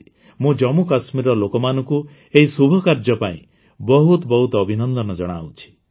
ମୁଁ ଜାମ୍ମୁକାଶ୍ମୀରର ଲୋକମାନଙ୍କୁ ଏହି ଶୁଭକାର୍ଯ୍ୟ ପାଇଁ ବହୁତ ବହୁତ ଅଭିନନ୍ଦନ ଜଣାଉଛି